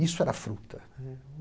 Isso era fruta.